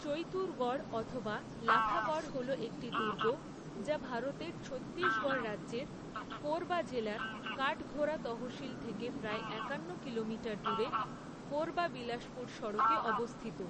চৈতুরগড় অথবা লাফাগড় হল একটি দুর্গ, যা ভারতের ছত্তিশগড় রাজ্যের, কোরবা জেলার কাঠঘোরা তহসিল থেকে প্রায় একান্ন কিলোমিটার দূরে, করবা বিলাসপুর সড়কে অবস্থিত।